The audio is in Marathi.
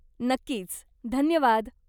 नक्कीच, धन्यवाद.